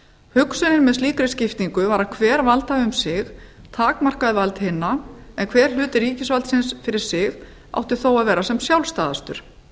hugsunin með slíkri skiptingu var að hver valdhafi um sig takmarkaði vald hinna en hver hluti ríkisvaldsins fyrir sig átti þó að vera sem sjálfstæðastur